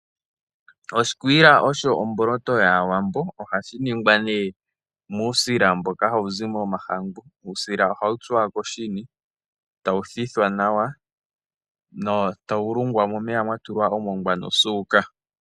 Oshikwiila osho omboloto yaAwambo, ohashi ningwa muusila mboka hawu zi momahangu. Uusila oha wu tsuwa koshini e tawu thithwa nawa e tawu lungwa momeya mwa tulwa omongwa nosuuka.